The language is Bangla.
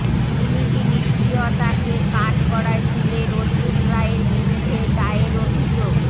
পুলিসি নিষ্ক্রিয়তাকে কাঠগড়ায় তুলে রোদ্দুর রায়ের বিরুদ্ধে দায়ের অভিযোগ